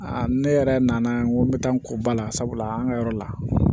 ne yɛrɛ nana n ko n bɛ taa n ko ba la sabula an ka yɔrɔ la